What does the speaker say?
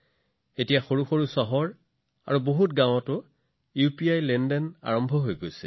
এতিয়া সৰু চহৰবোৰত আৰু বেছিভাগ গাওঁতে মানুহে ইউপিআইৰ দ্বাৰা লেনদেন কৰি আছে